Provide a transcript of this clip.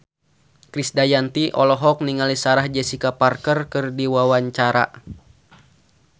Krisdayanti olohok ningali Sarah Jessica Parker keur diwawancara